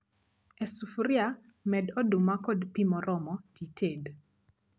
E sufria med oduma kod pii moromo tited